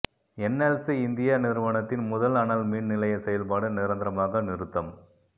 NLC India நிறுவனத்தின் முதல் அனல் மின் நிலையச் செயல்பாடு நிரந்தரமாக நிறுத்தம்